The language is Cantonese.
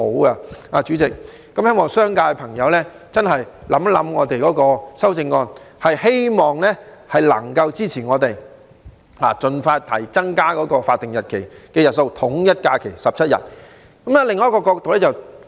代理主席，希望商界的朋友真的考慮我們提出的修正案，並給予支持，盡快增加法定假日的日數，統一假期為17日。